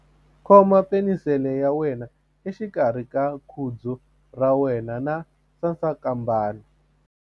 Khoma penisele ya wena exikarhi ka khudzu ra wena na sasankambana.